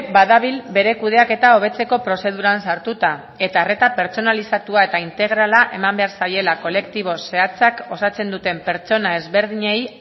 badabil bere kudeaketa hobetzeko prozeduran sartuta eta arreta pertsonalizatua eta integrala eman behar zaiela kolektibo zehatzak osatzen duten pertsona ezberdinei